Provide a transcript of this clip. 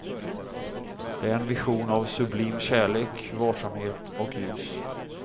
Det är en vision av sublim kärlek, varsamhet och ljus.